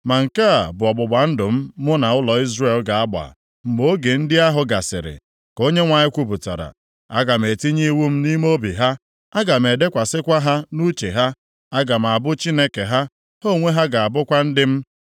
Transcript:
“Ma nke a bụ ọgbụgba ndụ mụ na ụlọ Izrel ga-agba mgbe oge ndị ahụ gasịrị,” ka Onyenwe anyị kwupụtara. “Aga m etinye iwu m nʼime obi ha, aga m edekwasịkwa ha nʼuche ha. Aga m abụ Chineke ha, ha onwe ha ga-abụkwa ndị m.